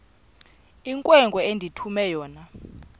inkwenkwe endithume yona